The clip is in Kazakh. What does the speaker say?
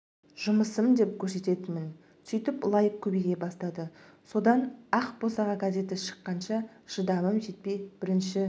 жұмысым деп көрсететінмін сөйтіп лайк көбейе бастады содан ақ босаға газеті шыққанша шыдамым жетпей бірінші